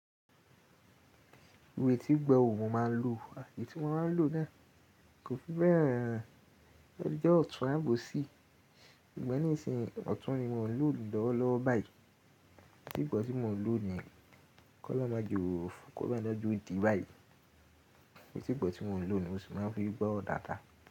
Iru etì igbọ́ wo mo máa ń lò eyii tí mo máa ń lò náà kò fi bẹ́ẹ̀ han, ó le jẹ́ ọ̀tún àbòsí. Sugbon nísìnyí ọ̀tún ni mò ń lò julọ́wọ́lọ́wọ́ báyìí, etì igbọ tí mò ń lò ni yen kọ́ lọrun máa jẹ o, kolorun maje di báyìí. Eti ìgbọ tí mò ń lò ni, mo sì máa ń fi gbọ́ oro dàada.